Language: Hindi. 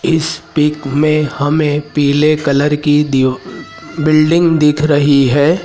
इस पिक में हमें पीले कलर की दीव बिल्डिंग दिख रही है।